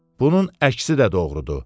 Bunun əksi də doğrudur.